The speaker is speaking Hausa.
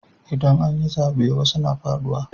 Idan an yi zaɓe wasu suna faɗuwa.